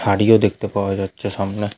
খাঁড়িও দেখতে পাওয়া যাচ্ছে সামনে।